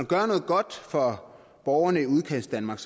gøre noget godt for borgerne i udkantsdanmark